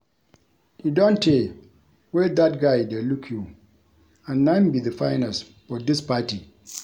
E don tey wey dat guy dey look you and na him be the finest for dis party